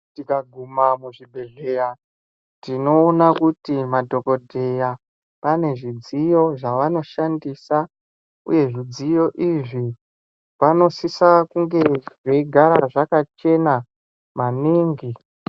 Tikaguma muzvibhedhleya tinoona kuti madhokodheya pane zvidziyo zvavano shandisa uye zvidziyo izvi panosisa kunge zveigara zvakachena maningi.